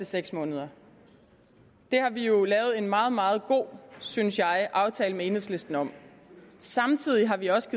seks måneder det har vi jo lavet en meget meget god synes jeg aftale med enhedslisten om samtidig har vi også